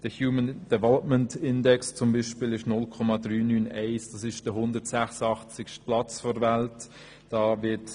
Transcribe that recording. Der Human Development Index (HDI) beträgt für Eritrea 0,391, was dem 186. Platz auf der Welt entspricht.